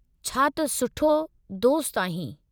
छा त सुठो दोस्त आहीं!